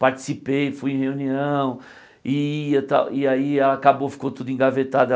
Participei, fui em reunião e ia tal e aí acabou, ficou tudo engavetado a.